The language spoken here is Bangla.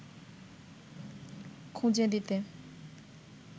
খুঁজে দিতে